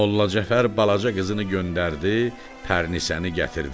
Molla Cəfər balaca qızını göndərdi, pərinisəni gətirdi.